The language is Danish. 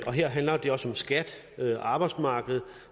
handler det også om skat arbejdsmarked